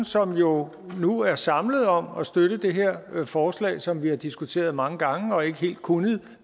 som jo nu er samlet om at støtte det her forslag som vi har diskuteret mange gange og ikke helt kunnet